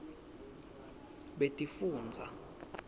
betifundza